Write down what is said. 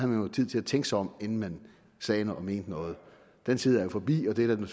jo tid til at tænke sig om inden man sagde noget og mente noget den tid er jo forbi og det er der